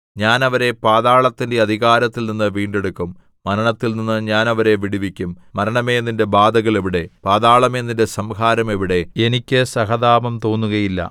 ഞാൻ അവരെ പാതാളത്തിന്റെ അധികാരത്തിൽനിന്ന് വീണ്ടെടുക്കും മരണത്തിൽനിന്നു ഞാൻ അവരെ വിടുവിക്കും മരണമേ നിന്റെ ബാധകൾ എവിടെ പാതാളമേ നിന്റെ സംഹാരം എവിടെ എനിക്ക് സഹതാപം തോന്നുകയില്ല